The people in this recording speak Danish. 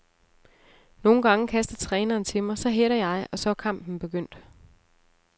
Nogle gange kaster træneren til mig, så header jeg, og så er kampen begyndt.